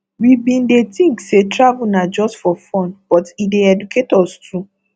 we been dey think say travel na just for fun but e dey educate us too